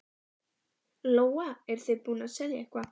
Lóa: Eruð þið búnir að selja eitthvað?